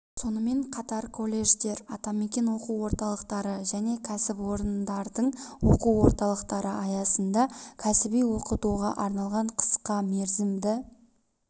сонымен қатар колледждер атамекен оқу орталықтары және кәсіпорындардың оқу орталықтары аясында кәсіби оқытуға арналған қысқа мерзімді